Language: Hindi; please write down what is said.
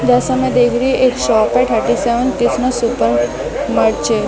जरा स मे देख रही हु एक शर्ट है थर्टी सेवन --